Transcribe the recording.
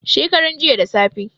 shekaran jiya da safe